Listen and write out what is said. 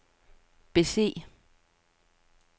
bese